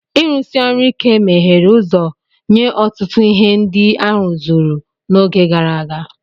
Ịrụsi ọrụ ike meghere ụzọ nye ọtụtụ ihe ndị a rụzuru n'oge gara aga.